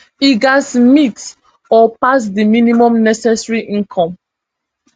e gatz meet or pass di minimum necessary income